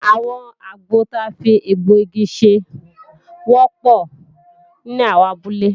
Àwọn àgbọ ta fi egbọ̀-igi ṣe wọ́pọ̀ ní àwọn abúlé